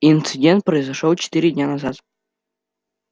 инцидент произошёл четыре дня назад